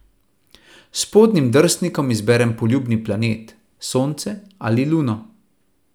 S spodnjim drsnikom izberi poljuben planet, Sonce ali Luno.